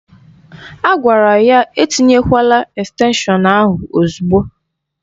A gwara ya etinyekwala estenshọn ahụ ozugbo